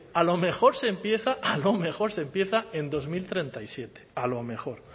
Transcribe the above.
a lo mejor se empieza en dos mil treinta y siete a lo mejor